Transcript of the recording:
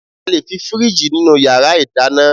A lè fí fìríìjì nínú yàrá ìdáná